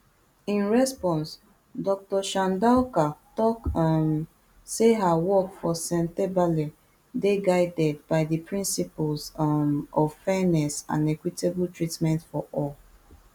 in response dr chandauka tok um say her work for sentebale dey guided by di principles um of fairness and equitable treatment for all